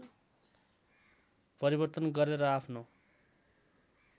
परिवर्तन गरेर आफ्नो